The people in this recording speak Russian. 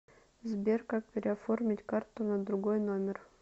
сбер как переоформить карту на другой номер